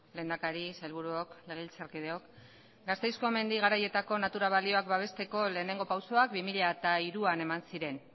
lehendakari sailburuok legebiltzarkideok gasteizko mendi garaietako natura balioak babesteko lehenengo pausuak bi mila hiruan eman ziren